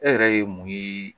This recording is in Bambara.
E yɛrɛ ye mun ye